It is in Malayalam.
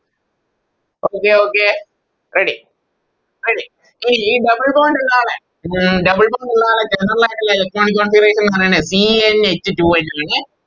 അപ്പൊ ഇത് Okay ready ready ഇനി ഈ Double bond ഇള്ള ആളെ ഉം Double bond ഉള്ള ആളെ General ആയിട്ടുള്ള Electronic configuration ന്ന് പറയുന്നേ C n h two n എന്നാണ്